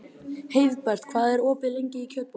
Heiðbert, hvað er opið lengi í Kjötborg?